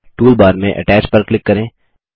toolbar में attach पर click करें